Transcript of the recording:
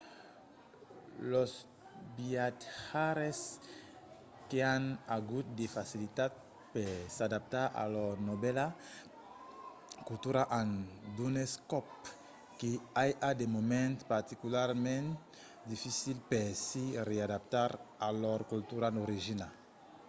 los viatjaires qu’an agut de facilitat per s’adaptar a lor novèla cultura an d’unes còp que i a de moments particularament dificils per se readaptar a lor cultura d’origina